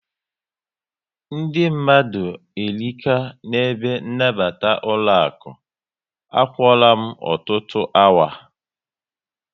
Ndị mmadụ erika na ebe nabata ụlọaku, a kwụọra m ọtọ otu awa